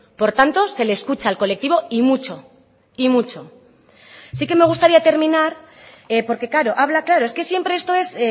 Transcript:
por tanto se le escucha al colectivo y mucho y mucho sí que me gustaría terminar porque claro habla claro es que siempre esto es